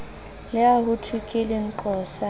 le ha hothwe ke lenqosa